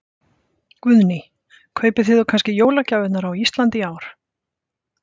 Guðný: Kaupið þið þá kannski jólagjafirnar á Íslandi í ár?